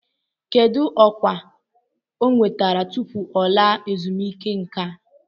Kedu ọkwa ọ nwetara tupu ọ laa ezumike nka?